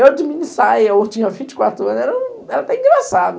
Eu de mini saia, eu tinha vinte e quatro anos, era até engraçado.